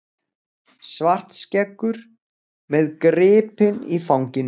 Svartskeggur með gripinn í fanginu.